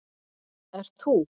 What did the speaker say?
ert ÞÚ.